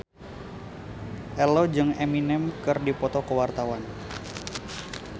Ello jeung Eminem keur dipoto ku wartawan